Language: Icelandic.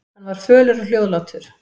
Hann var fölur og hljóðlátur.